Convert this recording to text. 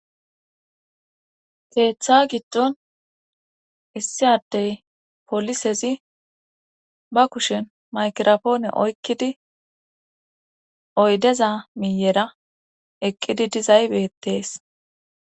Keeththa giddon issi addey polisezi ba kushen maykirapoone oykkidi oydeza miyera eqqidi dizaybeettees.